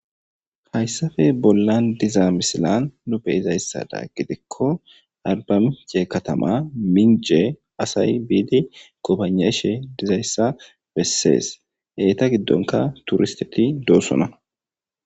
hayssafe bollan diza misilan nuu be izayssada gidikko albamince katama minje asay biidi kopaneshe dizayssa bessees eeta giddonka turisteti doosona